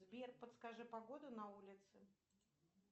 сбер подскажи погоду на улице